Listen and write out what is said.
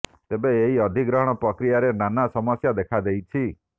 ତେବେ ଏହି ଅଧିଗ୍ରହଣ ପ୍ରକ୍ରିୟାରେ ନାନା ସମସ୍ୟା ଦେଖା ଦେଇଛି